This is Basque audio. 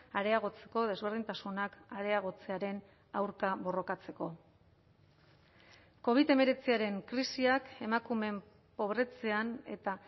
areagotzeko desberdintasunak areagotzearen aurka borrokatzeko covid hemeretziaren krisiak emakumeen pobretzean eta